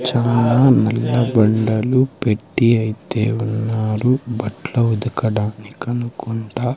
చానా నల్ల బండలు పెట్టి అయితే ఉన్నారు బట్ల ఉతకడానికనుకుంటా.